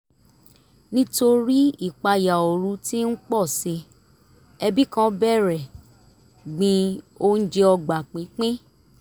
nítorí ìpayà ooru tí ń pọ̀si ẹbí kan bẹ̀rẹ̀ gbin oúnjẹ ọgbà pínpín